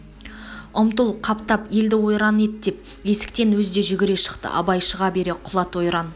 ұмтыл қаптат елді ойран ет деп есіктен өзі де жүгре шықты абай шыға бере құлат ойран